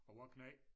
Og vor knægt